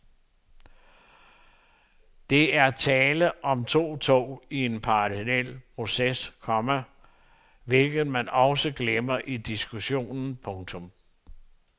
Det er tale om to tog i en parallel proces, komma hvilket man også glemmer i diskussionen. punktum